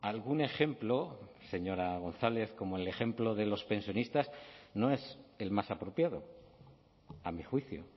algún ejemplo señora gonzález como el ejemplo de los pensionistas no es el más apropiado a mi juicio